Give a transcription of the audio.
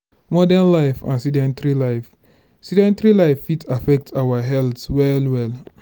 modern life and sedentry life sedentry life fit affect our health well well